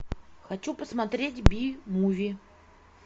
хочу посмотреть би муви